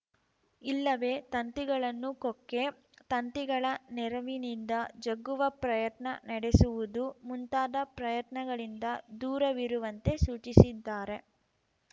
ಇಲ್ಲವೇ ತಂತಿಗಳನ್ನು ಕೊಕ್ಕೆ ತಂತಿಗಳ ನೆರವಿನಿಂದ ಜಗ್ಗುವ ಪ್ರಯತ್ನ ನಡೆಸುವುದು ಮುಂತಾದ ಪ್ರಯತ್ನಗಳಿಂದ ದೂರವಿರುವಂತೆ ಸೂಚಿಸಿದ್ದಾರೆ